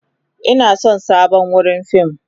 Ina son sabon wurin fim.